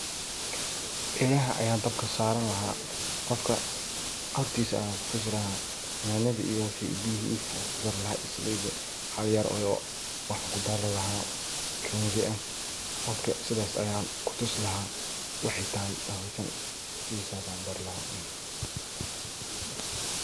Elaha ayan dabka saran laha. Qofka hortisa ayan kutusi laha ,neladha, salidi iyo biyihi ayan kudari laha hal oyoo iyo chumbi aya kudari laha marka sidas ayan kutusi lahaa waxay tahay bahalkan sidas ayan u baari laha.